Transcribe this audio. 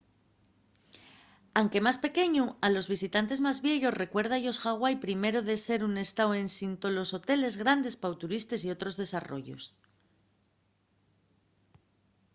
anque más pequeñu a los visitantes más vieyos recuérda-yos hawaii primero de ser un estáu ensin tolos hoteles grandes pa turistes y otros desarrollos